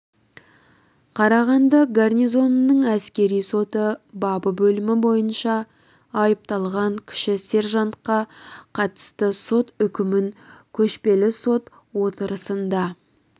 карағанды гарнизонының әскери соты бабы бөлімі бойынша айыпталған кіші сержантқа қатысты сот үкімін көшпелі сот отырысында